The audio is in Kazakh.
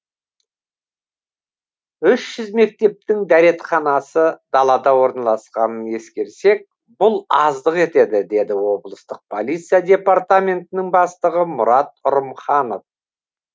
мектептің дәретханасы далада орналасқанын ескерсек бұл аздық етеді деді облыстық полиция департаментінің бастығы мұрат ұрымханов